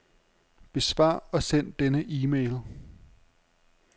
Besvar og send denne e-mail.